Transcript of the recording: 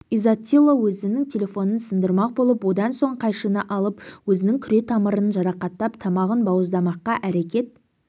изаттило өзінің телефонын сындырмақ болып одан соң қайшыны алып өзінің күре тамырын жарақаттап тамағын бауыздамаққа әрекет